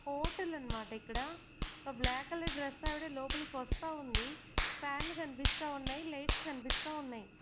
Hotel అనమాట ఇక్కడ ఒక బ్లాక్ కలర్ డ్రెస్ ఆవిడ లోపలికి వస్తా ఉంది ఫ్యాన్లు కనిపిస్తా ఉన్నాయి లైట్స్ కనిపిస్తా ఉన్నాయి.